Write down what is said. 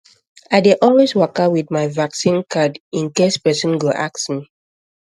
i dey always waka um with my vaccine card um in case person um go ask me